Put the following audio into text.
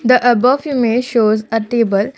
the above image shows a table.